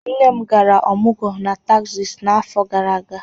Nne m gara ọmọgwọ na Tesas n'afọ gara aga.